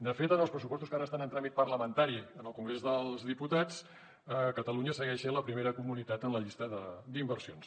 de fet en els pressupostos que ara estan en tràmit parlamentari al congrés dels diputats catalunya segueix sent la primera comunitat en la llista d’inversions